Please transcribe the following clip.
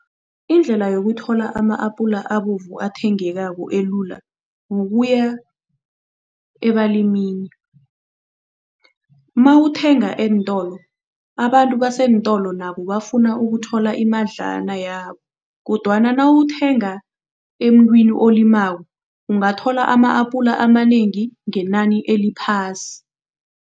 Indlela yokuthola ama-apula abovu athengekako elula, kukuya ebalimini. Mawuthenga eentolo, abantu baseentolo nabo bafuna ukuthola imadlana yabo kodwana nawuthenga emuntwini olimako ungathola ama-apula amanengi ngenani eliphasi.